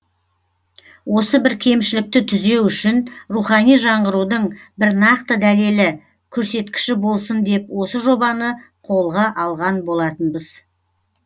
осы бір кемшілікті түзеу үшін рухани жаңғырудың бір нақты дәлелі көрсеткіші болсын деп осы жобаны қолға алған болатынбыз